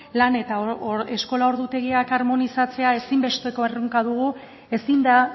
lan eta eskola ordutegiak harmonizatzea ezinbesteko erronka dugu ezin da